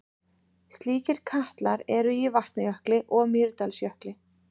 Slíkir katlar eru í Vatnajökli og Mýrdalsjökli.